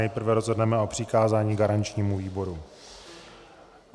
Nejprve rozhodneme o přikázání garančnímu výboru.